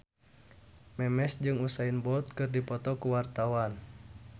Memes jeung Usain Bolt keur dipoto ku wartawan